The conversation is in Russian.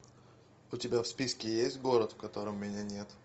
у тебя в списке есть город в котором меня нет